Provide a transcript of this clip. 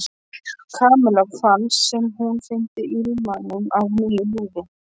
Kamilla fannst sem hún fyndi ilminn af nýju lífi.